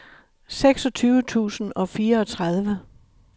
seksogtyve tusind og fireogtredive